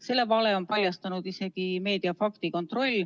Selle vale on paljastanud isegi meedia faktikontroll.